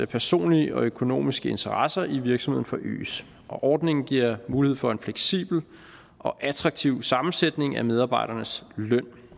personlige og økonomiske interesser i virksomheden forøges ordningen giver mulighed for en fleksibel og attraktiv sammensætning af medarbejdernes løn